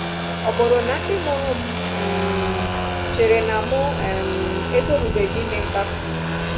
Ọ bụrụ na ndị mụrụ m um chee na mụ um etorubeghị ime mkpapụ?